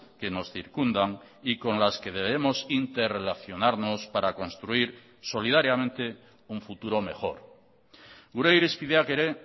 que nos circundan y con las que debemos interrelacionarnos para construir solidariamente un futuro mejor gure irizpideak ere